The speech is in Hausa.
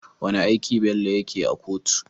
Wane aiki Bello yake a kotu?